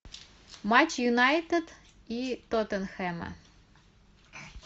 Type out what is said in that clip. матч юнайтед и тоттенхэма